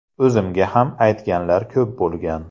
O‘zimga ham aytganlar ko‘p bo‘lgan.